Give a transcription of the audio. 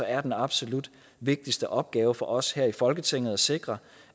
er den absolut vigtigste opgave for os her i folketinget at sikre